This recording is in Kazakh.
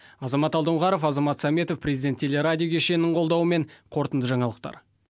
азамат алдоңғаров азамат сәметов президент телерадио кешенінің қолдауымен қорытынды жаңалықтар